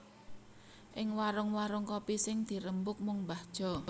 Ing warung warung kopi sing dirembug mung mbah Jo